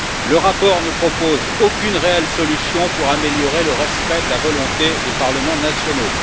Le rapport ne propose aucune réelle solution pour améliorer le respect de la volonté des parlements nationaux.